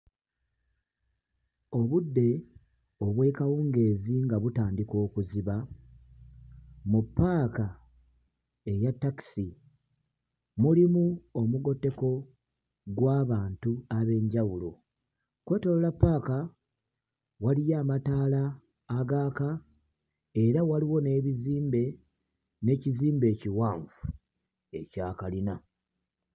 Obudde obw'ekawungeezi nga butandika okuziba mu ppaaka eya takisi, mulimu omugotteko gw'abantu ab'enjawulo. Okwetooloola ppaaka waliyo amataala agaaka era waliwo n'ebizimbe, n'ekizimbe ekiwanvu ekya kalina.